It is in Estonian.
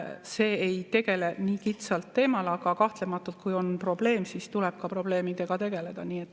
See ei tegele nii kitsa teemaga, aga kahtlematult, kui on probleem, siis tuleb ka probleemidega tegeleda.